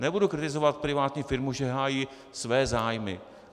Nebudu kritizovat privátní firmu, že hájí své zájmy.